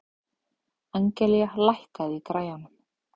Angelía, lækkaðu í græjunum.